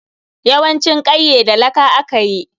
Yawancin kwaiye da laka aka yi.